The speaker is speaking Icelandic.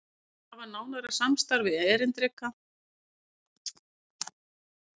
Hafi nánara samstarf við einkareknar vinnumiðlanir